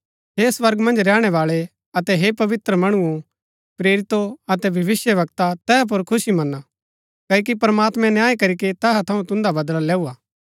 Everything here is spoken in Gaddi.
हे स्वर्ग मन्ज रैहणै बाळै अतै हे पवित्र मणुओ प्रेरितो अतै भविष्‍यवक्ता तैहा पुर खुशी मना क्ओकि प्रमात्मैं न्याय करीके तैहा थऊँ तुन्दा बदला लैऊ हा